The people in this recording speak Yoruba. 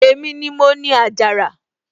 èmi ni mo ni àjàrà